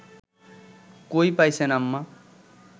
কই পাইছেন আম্মা